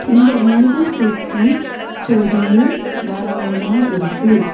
இந்த வீடு சுத்தி செடியு மரங்களுமா இருக்கு.